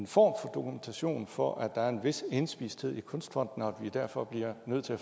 for dokumentation for at der er en vis indspisthed i kunstfonden og at vi derfor bliver nødt til at